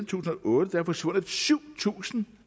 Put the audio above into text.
tusind og otte er forsvundet syv tusind